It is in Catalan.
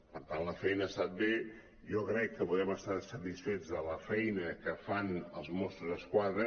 per tant la feina ha estat bé jo crec que podem estar satisfets de la feina que fan els mossos d’esquadra